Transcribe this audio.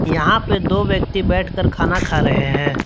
यहां पे दो व्यक्ति बैठकर खाना खा रहे है।